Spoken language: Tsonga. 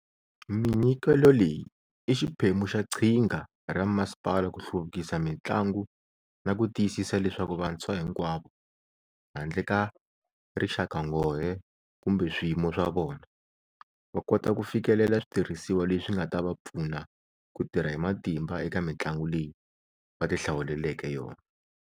Minyikelo leyi i xiphemu xa qhinga ra masipala ku hluvukisa mitlangu na ku tiyisisa leswaku vantshwa hinkwavo, handle ka rixakanghohe kumbe swiyimo swa vona, va kota ku fikelela switirhisiwa leswi nga ta va pfuna ku tirha hi matimba eka mitlangu leyi va tihlawuleleke yona.